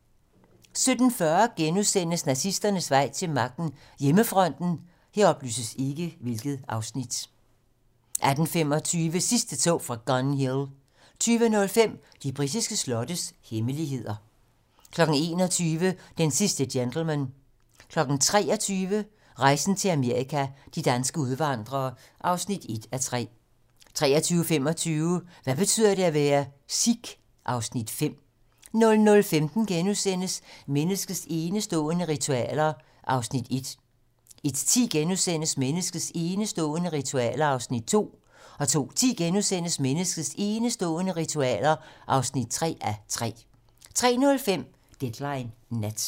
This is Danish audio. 17:40: Nazisternes vej til magten: Hjemmefronten * 18:25: Sidste tog fra Gun Hill 20:05: De britiske slottes hemmeligheder 21:00: Den sidste gentleman 23:00: Rejsen til Amerika – de danske udvandrere (1:3) 23:35: Hvad betyder det at være: Sikh? (Afs. 5) 00:15: Menneskets enestående ritualer (1:3)* 01:10: Menneskets enestående ritualer (2:3)* 02:10: Menneskets enestående ritualer (3:3)* 03:05: Deadline nat